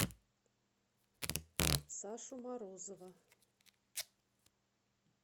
сашу морозова